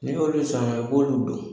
N'i y'olu saŋa i b'olu don.